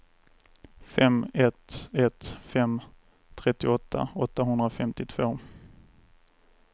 fem ett ett fem trettioåtta åttahundrafemtiotvå